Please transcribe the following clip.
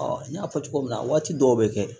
n y'a fɔ cogo min na waati dɔw bɛ kɛ